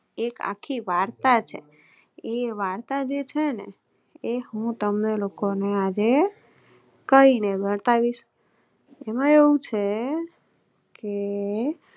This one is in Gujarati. એક આખી વાર્તા છે એ વાર્તા જે છેને હું તમ ને લોકોને આજે કહી ને બતાવીશ એમાં એવું છે કે